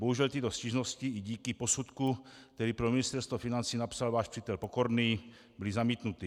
Bohužel tyto stížnosti i díky posudku, který pro Ministerstvo financí napsal váš přítel Pokorný, byly zamítnuty.